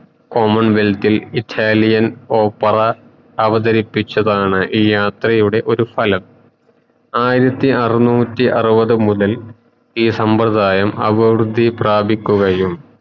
common wealth ഇൽ Italian opera അവതരിപ്പിച്ചതാണ് ഈ യാത്രയുടെ ഒരു ഫലം ആയിരത്തി അറനൂറ്റി ആറുവത് മുതൽ ഈ സബ്രതായം ആറുവതി പ്രാപിക്കുകയും